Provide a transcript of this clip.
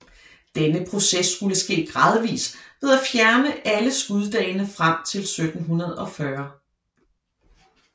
Denne proces skulle ske gradvis ved at fjerne alle skuddagene frem til 1740